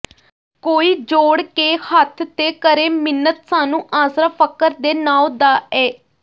ਕੋਈ ਜੋੜ ਕੇ ਹੱਥ ਤੇ ਕਰੇ ਮਿੰਨਤ ਸਾਨੂੰ ਆਸਰਾ ਫਕਰ ਦੇ ਨਾਉਂ ਦਾ ਏ